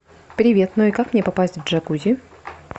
привет ну и как мне попасть в джакузи